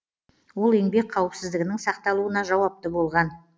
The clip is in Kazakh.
ол еңбек қауіпсіздігінің сақталуына жауапты болған